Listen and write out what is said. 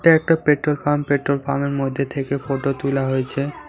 এটা একটা petrol pump পেট্রোলপামের মধ্যে থেকে ফটো তোলা হয়েছে।